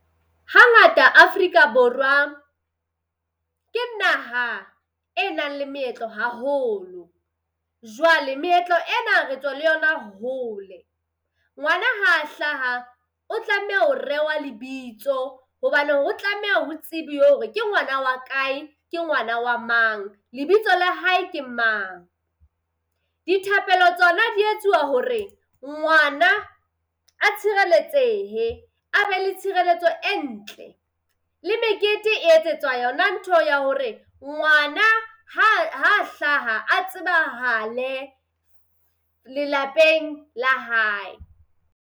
Hangata Afrika Borwa ke naha e nang le meetlo haholo. Jwale meetlo ena re tswa le yona hole, ngwana ha hlaha o tlameha ho rewa lebitso hobane ho tlameha o tsebiwe hore ke ngwana wa kae, ke ngwana wa mang, lebitso la hae ke mang? Dithapelo tsona di etsuwa hore ngwana a tshireletsehe a be le tshireletso e ntle. Le mekete e etsetswa yona ntho eo ya hore ngwana ha ha hlaha a tsebahale lelapeng la hae.